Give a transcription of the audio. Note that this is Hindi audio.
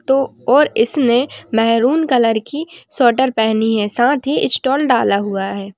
तो और इसने मेहरून कलर की स्वेटर पहनी है साथ ही स्टॉल डाला हुआ है।